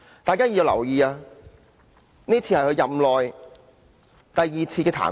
大家必須留意，這已是他任內第二次被彈劾。